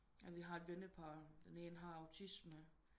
Vi har et vennepar den ene har autisme